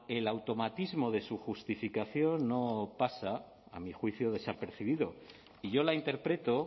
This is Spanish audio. el automatismo de su justificación no pasa a mi juicio desapercibido y yo la interpreto